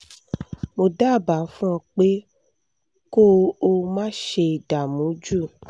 mo dábàá fún ọ pé kó o má ṣe dààmú jù